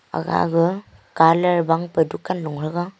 aga ga colour ban pe dunkan lu thanya.